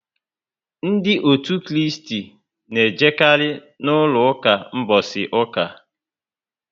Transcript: Ndị òtù Kristi na ejekari na úlọ ụka mbosi uka